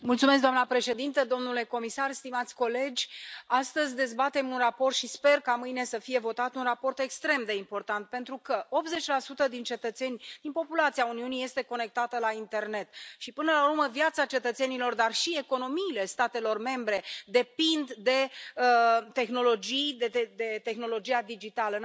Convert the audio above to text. Doamna președintă, domnule comisar, stimați colegi, astăzi dezbatem un raport și sper ca mâine să fie votat un raport extrem de important, pentru că 80 din cetățeni, din populația Uniunii, este conectată la internet și, până la urmă, viața cetățenilor, dar și economiile statelor membre depind de tehnologii, de tehnologia digitală.